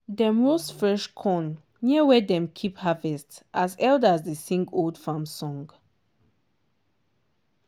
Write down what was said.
dem roast fresh corn near where dem keep harvest as elders dey sing old farm song.